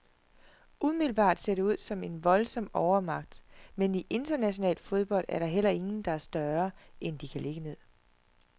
Umiddelbart ser det ud som en voldsom overmagt, men i international fodbold er der heller ingen, der er større, end de kan ligge ned.